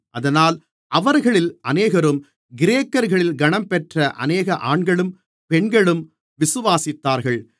அதனால் அவர்களில் அநேகரும் கிரேக்கர்களில் கனம்பெற்ற அநேக ஆண்களும் பெண்களும் விசுவாசித்தார்கள்